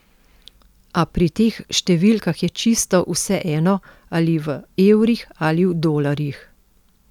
A pri teh številkah je čisto vseeno, ali v evrih ali v dolarjih.